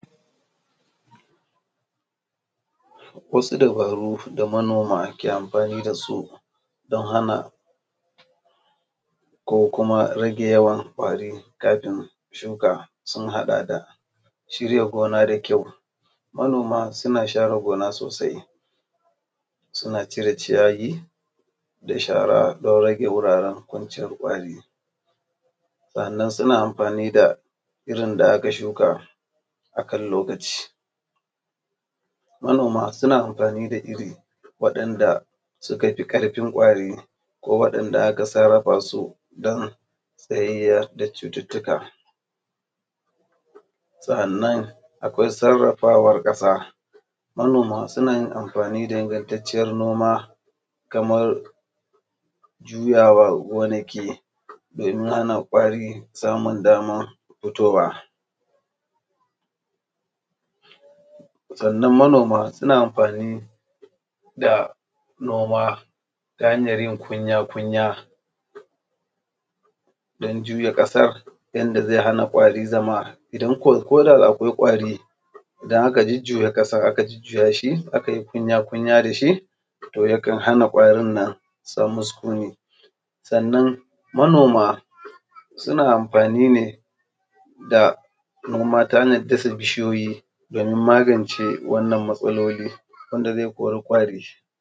Wasu dabaru da manoma ke amfani da su don hana ko kuma rage yawan ƙwari kafin shuka, sun haɗa da shirya gona da ƙyau. Manoma suna share gona da ƙyau suna cire ciyayi da shara don rage wuraren kwanciyar ƙwari. Sannan suna amfani da irin da aka shuka da wuri a kan lokaci. Manoma suna amfani da irin wanda suka fi ƙarfin ƙwari ko waɗanda aka sarrafa su don tsayar da cututtuka. Sannan akwai sarrafawar ƙasa suna yin amfani da wani ingantacce kamar jurawa don hana ƙwari. Sannan manoma suna amfani da noma ta hanyar yin kwanya-kwanya don juya ƙasa Yadda zai hana ƙwari zama ko da da akwai ƙwari, idan aka jujjuya aka yi kwanya-kwanya da shi to yakan hana ƙwarin nan zaman su wurin. Sannan manoma suna amfani ne ta hanyar dasa bishiyoyi domin magance wannan matsaloli wanda zai kori ƙwari.